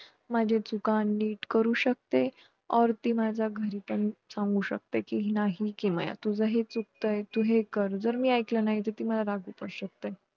खरंतर देव जेवणारच नसतो. देवाच्या निमित्ताने गाव जेवणार असतं आणि देवालाच तो गावाच्या रूपाने बघत असतो. दिवसभर हि पालखी प्रत्येकाच्या घरी जाते याला 'घर घेणे ' असे म्हणतात.